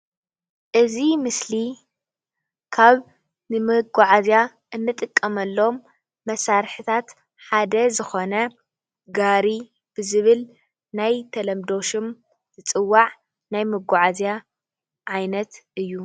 እዚ ምስሊ እዚ ካብ ንመጓዓዝያ እንጥቀመሎም መሳርሕታት ሓደ ዝኮነ ጋሪ ዝብል ናይ ተለምዶ ሽም ዝፅዋዕ ናይ መጓዓዝያ ዓይነት እዩ፡፡